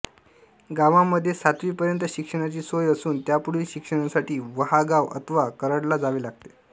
गावामध्ये सातवीपर्यंत शिक्षणाची सोय असून त्यापुढील शिक्षणासाठी वहागांव अथवा कराडला जावे लागते